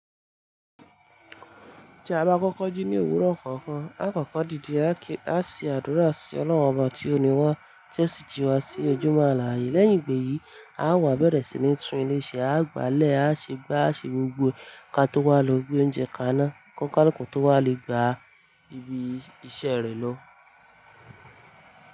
Tí a bá kọ́kọ́ jí ní òwúrọ̀ kankan, á kọ́kọ́ dìde, á ki á se adúra sí Ọlọ́run Ọba tí o ní wa, ti o si Jìwà, sí ojúmọ́ àlàyé. Lẹ́yìn ìgbè yí, á wá bẹ̀rẹ̀ sí ní tún ilé iṣẹ́ a gbàlẹ̀, a ṣe gbá, a ṣe gbógbó, ká tó wá lọ gbé oúnjẹ kaná, kọ́nikaluku tó wá lè gba ibi iṣẹ́ rẹ̀ lọ.